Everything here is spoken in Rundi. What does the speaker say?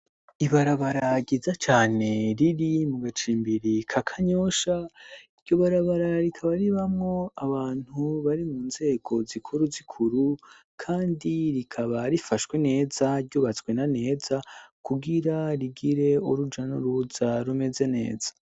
Ibarabara ryiza cyane riri mu gacimbiri ka kanyosha, iryo barabara rikaba ribamwo abantu bari mu nzego zikuru zikuru kandi rikaba rifashwe neza ryubatswe na neza kubwira rigire oruja nuruza rumeze neza.